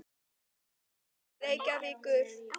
Ég verð að fara til Reykjavíkur!